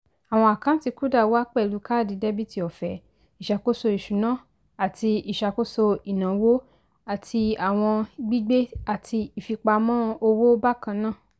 àwọn àkántì kuda wà pẹlú káàdì dẹ́bìtì ọ̀fẹ́ ìṣàkóso ìṣúná àti ìṣàkóso ìnáwó àti àwọn gbigbe àti ìfipamọ́ owó bákannáà